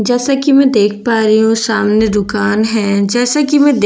जैसा की मैं देख पा रही हूँ सामने दुकान हैं जैसा की मैं देख --